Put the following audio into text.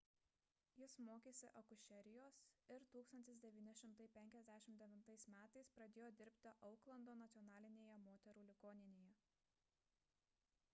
jis mokėsi akušerijos ir 1959 m pradėjo dirbti auklando nacionalinėje moterų ligoninėje